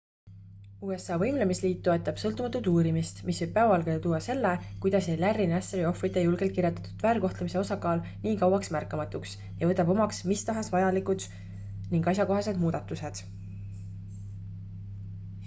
usa võimlemisliit toetab sõltumatut uurimist mis võib päevavalgele tuua selle kuidas jäi larry nassari ohvrite julgelt kirjeldatud väärkohtlemise osakaal nii kauaks märkamatuks ja võtab omaks mis tahes vajalikud ning asjakohased muudatused